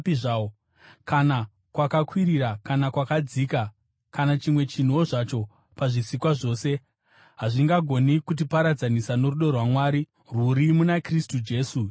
kana kwakakwirira, kana kwakadzika, kana chimwe chinhuwo zvacho pazvisikwa zvose, hazvingagoni kutiparadzanisa norudo rwaMwari, rwuri muna Kristu Jesu Ishe wedu.